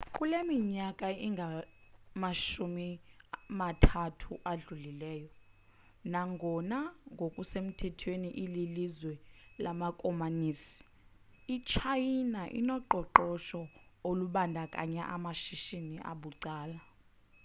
kule minyaka ingamashumi mathathu adlulileyo nangona ngokusemthethweni ililizwe lamakomanisi itshayina inoqoqosho olubandakanya amashishini abucala